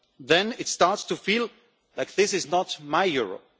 Then it starts to feel like this is not my Europe.